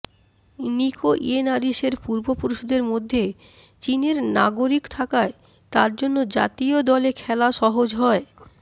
নিকো ইয়েনারিসের পূর্বপুরুষদের মধ্যে চীনের নাগরিক থাকায় তার জন্য জাতীয় দলে খেলা সহজ হয়